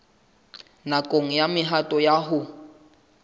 nakong ya mehato ya ho